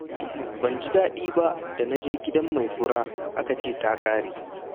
Ban ji daɗi ba da naje gidan mai fura aka ce ta ƙare.